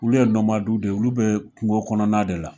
Olu ye nɔmadu de ye olu be kungo kɔnɔna de la